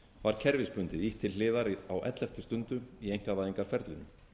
var kerfisbundið ýtt til hliðar á elleftu stundu í einkavæðingarferlinu